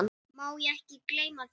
Má ekki gleyma því.